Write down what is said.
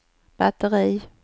batteri